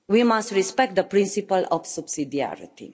We must respect the principle of subsidiarity.